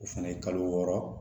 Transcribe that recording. O fɛnɛ ye kalo wɔɔrɔ